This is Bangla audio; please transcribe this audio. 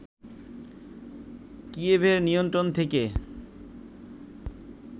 কিয়েভের নিয়ন্ত্রণ থেকে